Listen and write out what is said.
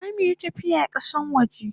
Zo muyi tafiya kasan waje!